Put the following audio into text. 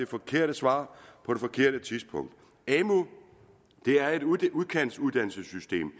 forkerte svar på det forkerte tidspunkt amu er et udkantsuddannelsessystem